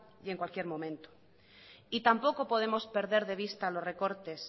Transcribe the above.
y en cualquier momento y tampoco podemos perder de vista los recortes